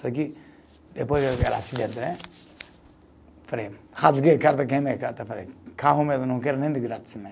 Só que, depois acidente, rasguei carta, carro mesmo, não quero nem de graça né.